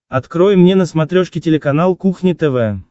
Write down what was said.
открой мне на смотрешке телеканал кухня тв